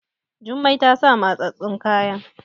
Jummai ta sa mattsattun kaya